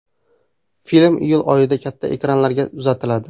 Film iyul oyida katta ekranlarga uzatiladi.